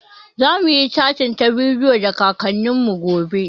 Zamuyi catin ta bidiyo da kakannin mu gobe